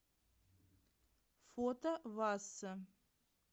фото васса